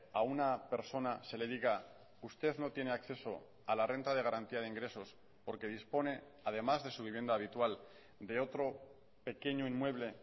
a una persona se le diga usted no tiene acceso a la renta de garantía de ingresos porque dispone además de su vivienda habitual de otro pequeño inmueble